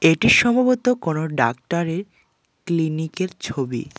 এটি সম্ভবত কোনও ডাক্তারের ক্লিনিকের ছবি।